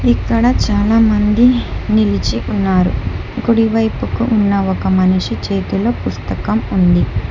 ఇక్కడ చాలామంది నిలిచి ఉన్నారు కుడి వైపుకు ఉన్న ఒక మనిషి చేతిలో పుస్తకం ఉంది